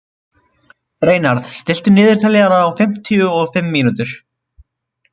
Reynarð, stilltu niðurteljara á fimmtíu og fimm mínútur.